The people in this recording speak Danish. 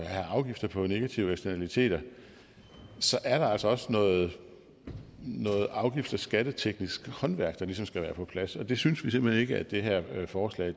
have afgifter på negative eksternaliteter så er der altså også noget noget afgifts og skatteteknisk håndværk der ligesom skal være på plads og det synes vi simpelt hen ikke at det her forslag